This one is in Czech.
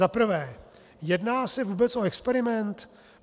Za prvé: Jedná se vůbec o experiment?